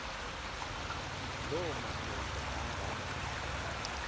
loo madoda anga